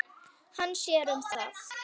Hann sér um það.